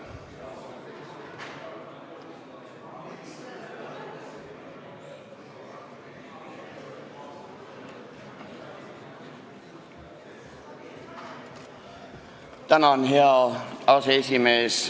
Tänan, hea aseesimees!